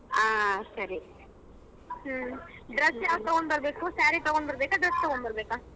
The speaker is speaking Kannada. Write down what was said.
ಹ್ಮ ಸರಿ. ಹ್ಮ dress ಯಾವ್ದು ತಗೋಂಬರ್ಬೇಕು saree ತಗೋಂಬರ್ಬೇಕಾ dress ತಗೋಂಬರ್ಬೇಕಾ.